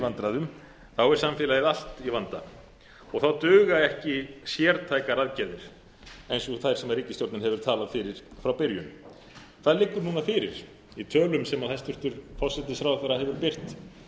í vandræðum er samfélagið allt í vanda og þá duga ekki sértækar aðgerðir eins og þær sem ríkisstjórnin hefur talað fyrir frá byrjun það liggur núna fyrir í tölum sem hæstvirtur forsætisráðherra hefur birt